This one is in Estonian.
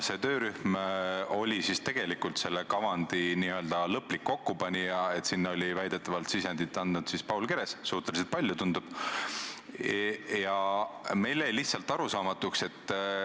See töörühm oli tegelikult selle kavandi n-ö lõplik kokkupanija ja sinna oli väidetavalt andnud sisendi ka Paul Keres – tundub, et tema panus oli suhteliselt suur.